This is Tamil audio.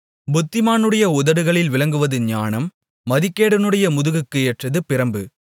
புத்திமானுடைய உதடுகளில் விளங்குவது ஞானம் மதிகேடனுடைய முதுகுக்கு ஏற்றது பிரம்பு